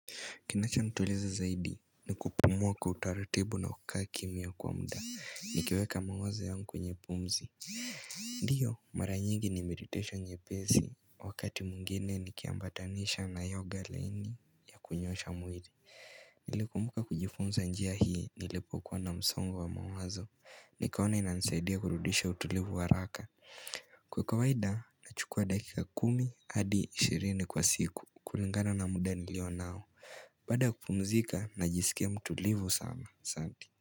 Kinacho nituliza zaidi ni kupumua kwa utaratibu na kukaa kimya kwa muda. Nikiweka mawazo yangu kwenye pumzi. Ndiyo, mara nyingi ni meditation nyepesi. Wakati mwjngine nikiambatanisha na yoga laini ya kunyoosha mwili. Nilikumbuka kujifunza njia hii nilipokuwa na msongo wa mawazo. Nikaona inanisaidia kurudisha utulivu haraka. Kwa kawaida, nachukua dakika kumi hadi ishirini kwa siku kulingana na muda nilio nao. Baada ya kupumzika najiskia mtulivu sana asanti.